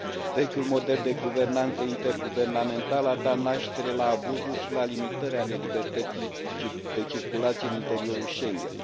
Vechiul model de guvernanță interguvernamentală a dat naștere la abuzuri și la limitări ale libertății de circulație în interiorul Schengen.